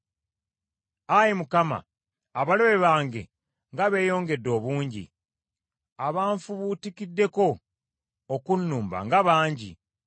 Ayi Mukama , abalabe bange nga beeyongedde obungi! Abanfubutukiddeko okunnumba nga bangi!